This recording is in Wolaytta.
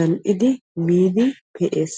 oottiddi miidi pe'ees.